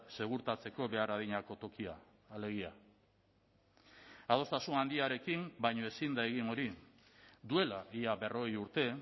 segurtatzeko behar adinako tokia alegia adostasun handiarekin baino ezin da egin hori duela ia berrogei urte